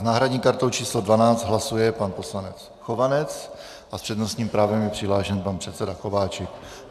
S náhradní kartou číslo 12 hlasuje pan poslanec Chovanec a s přednostním právem je přihlášen pan předseda Kováčik.